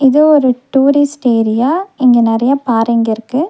இது ஒரு tourist area இங்க நெறையா பாறைங்க இருக்கு.